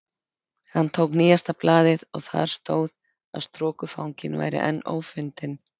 Hann tók nýjasta blaðið og þar stóð að strokufanginn væri enn ófundinn.